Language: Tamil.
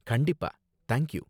கண்டிப்பா, தேங்க் யூ.